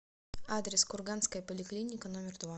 адрес курганская поликлиника номер два